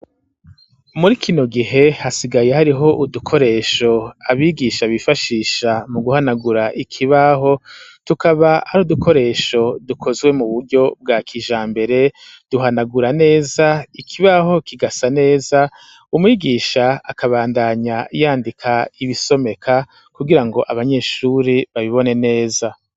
Muri kino gihe, hasigaye hariho udukoresho abigisha bifashisha mu guhanagura ikibaho, tukaba ari udukoresho dukozwe mu buryo bwa kija mbere, duhanagura neza ikibaho kigasa neza, umwigisha akabandanya yandika ibisomeka, kugira ngo abanyeshuri babibone neza.